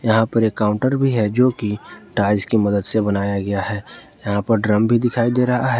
यहां पर काउंटर भी है जो की टाइल्स की मदद से बनाया गया है यहां पर ड्रम भी दिखाई दे रहा है।